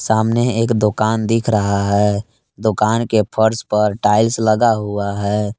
सामने एक दुकान दिख रहा है दुकान के फर्श पर टाइल्स लगा हुआ है।